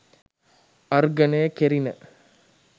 අර්ඝණය කෙරිණ